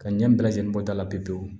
Ka ɲɛ bɛɛ lajɛlen bɔ a la pewu pewu